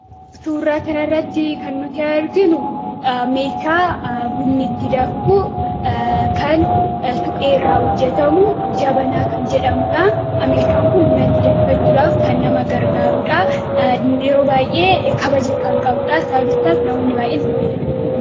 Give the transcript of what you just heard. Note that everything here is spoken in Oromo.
Suuraa kana irratti kan nuti arginu meeshaa bunni itti danfuu kan supheerraa hojjetamu jabanaa kan jedhamudha. Meeshan kun buna itti danfifachuudhaaf kan nama gargaaruudhaa. Yeroo baay'ee kabaja kan qabuudhaa sababni isaas namoonni baay'een itti fayyadamu.